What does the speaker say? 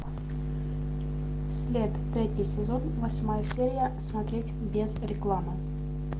след третий сезон восьмая серия смотреть без рекламы